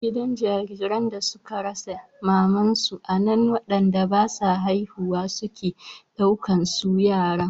Gidan jariran da suka rasa mamansu anan wanda basa haihuwa suke ɗauka su yara